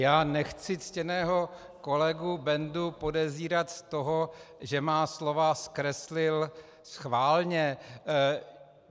Já nechci ctěného kolegu Bendu podezírat z toho, že moje slova zkreslil schválně.